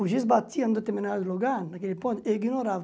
O giz batia em determinado lugar, naquele ponto, eu ignorava.